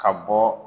Ka bɔ